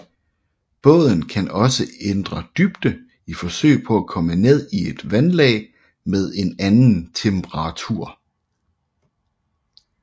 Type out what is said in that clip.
Båden kan også ændre dybde i forsøg på at komme ned i et vandlag med en anden temperatur